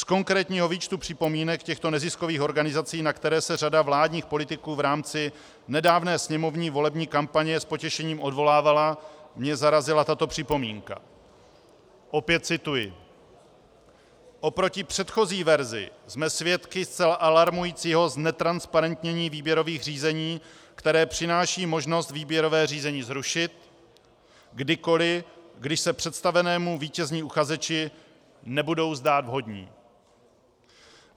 Z konkrétního výčtu připomínek těchto neziskových organizací, na které se řada vládních politiků v rámci nedávné sněmovní volební kampaně s potěšením odvolávala, mě zarazila tato připomínka - opět cituji: Oproti předchozí verzi jsme svědky zcela alarmujícího znetransparentnění výběrových řízení, které přináší možnost výběrové řízení zrušit kdykoli, když se představenému vítězní uchazeči nebudou zdát vhodní.